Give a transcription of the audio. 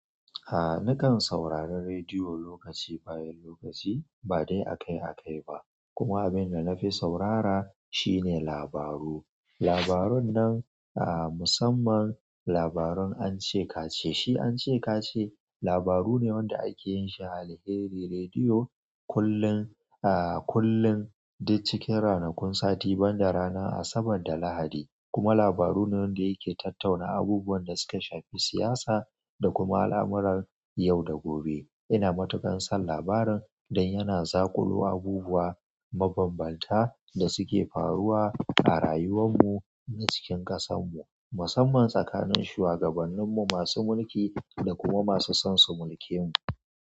A nakan saurari rediyo lokaci bayan lokaci ba dai akai akai ba kuma abinda nafi saurara shine labaru. Labarun nan musamman labarun an ce ka ce shi ance ka ce labaru ne wanda ake yin shi a Alheri Rediyo kullun, a kullun duk cikin ranakun sati banda ranar Asabar da Lahadi kuma labaru ne wanda yake tattauna abubuwan da suka shafi siyasa da kuma al'amuran yau da gobe. Ina matuƙar son labarin dan yana zaƙulo abubuwa mabanbanta da suke faruwa a rayuwan mu na cikin ƙasan mu, musamman tsakanin shuwagabannin mu masu mulki da kuma masu son su mulke mu.